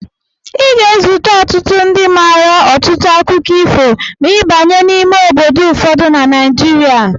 Ị ga-ezute ọtụtụ ndị mmadu maara ọtụtụ akụkọ ifo ma ị banye n'ime obodo ụfọdụ na Naijiria.